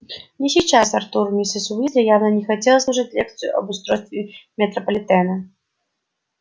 не сейчас артур миссис уизли явно не хотелось слушать лекцию об устройстве метрополитена